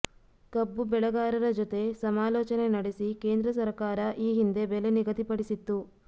ಕಬ್ಬು ಬೆಳೆಗಾರರ ಜೊತೆ ಸಮಾಲೋಚನೆ ನಡೆಸಿ ಕೇಂದ್ರ ಸರಕಾರ ಈ ಹಿಂದೆ ಬೆಲೆ ನಿಗದಿಪಡಿಸಿತ್ತು